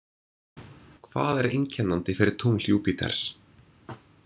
Hvað er einkennandi fyrir tungl Júpíters.